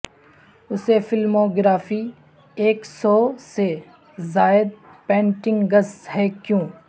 اسے فلموگرافی ایک سو سے زائد پینٹنگز ہے کیوں